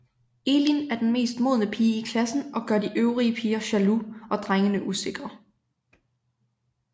Elin er den mest modne pige i klassen og gør de øvrige piger jaloux og drengene usikre